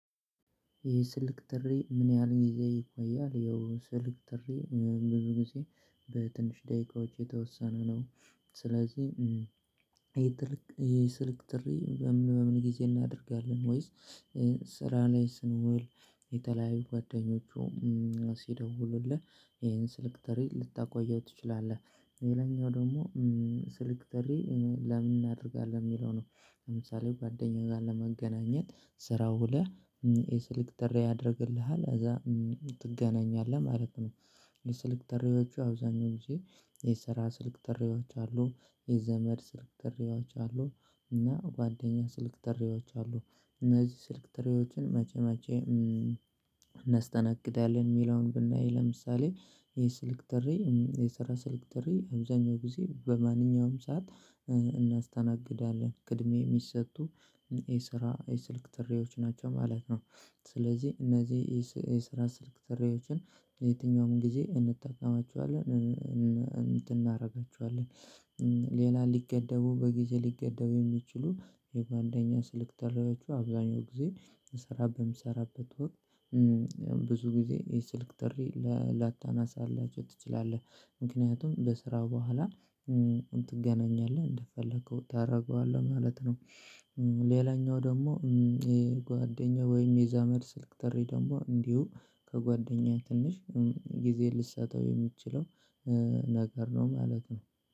የ ስልክ ጥሪ ምን ያህል ጊዜ ይቆያል? ይኸው ስልክ ጥሪ ብዙ ጊዜ በትንሽ ደቂቃዎች የተወሰነ ነው። ስለዚህ የስልክ ጥሪ በምን በምን ጊዜ እናደርጋለን ወይስ? ስራ ላይ ስንውል የተለያዩ ጓደኞቹ ሲደውሉልህ ይሄን ስልክ ጥሪ ልታቆየው ትችላለህ። ሌላኛው ደግሞ ስልክ ጥሪ ለምን እናደርጋለን የሚለው ነው። ለምሳሌ ጓደኛ ጋር ለመገናኘት ስራ ውለህ የስልክ ጥሪ ያደርግልሃል እዛ ትገናኛለህ ማለት ነው። የስልክ ጥሪዎቹ አብዛኛው ጊዜ የሰራ ስልክ ጥሪዎች አሉ። የዘመድ ስልክ ጥሪዎች አሉ። እና ጓደኛ ስልክ ጥሪዎች አሉ። እነዚህ ስልክ ጥሪዎችን መቼ መቼ እናስተናግዳለን? የሚለውን ብናይ ለምሳሌ የስልክ ጥሪ የሰራ ስልክ ጥሪ አብዛኛው ጊዜ በማንኛውም ሰዓት እናስተናግዳለን ቅድሚያ የሚሰጡ የስራ የስልክ ጥሪዎች ናቸው ማለት ነው። ስለዚህ እነዚህ የስራ ስልክ ጥሪዎችን ለየትኛውም ጊዜ እንጠቀማቸዋለን እንትን እናደርጋችኋለን። ሌላ ሊገደቡ በጊዜ ሊገደቡ የሚችሉ የጓደኛ ስልክ ጥሪዎቹ አብዛኛው ጊዜ ሰራ በምሰራበት ወቅት ብዙ ጊዜ የስልክ ጥሪ ላታናሳላቸው ትችላለህ። ምክንያቱም በስራ በኋላ ትገናኛለህ እንደፈለከው ታደርገዋለህ ማለት ነው። ሌላኛው ደግሞ ጓደኛው ወይም የዛመድ ስልክ ጥሪ ደግሞ እንዲሁ ከጓደኛዬ ትንሽ ጊዜ ልሰጠው የምትችለው ነገር ነው ማለት ነው